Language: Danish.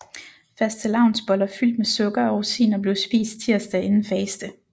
Fastelavnsboller fyldt med sukker og rosiner blev spist tirsdag inden faste